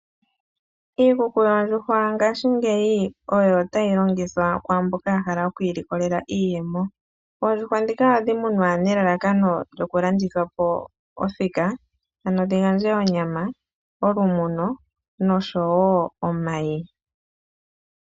Iikuku yoondjuhwa ngashingeyi oyo tayi longithwa kwaamboka ya hala okwi ilikolela iiyemo. Oondjuhwa ndhika ohadhi munwa nelalakano lyokulandithwa po othika, ano dhi gandje onyama, olumuno nosho wo omayi.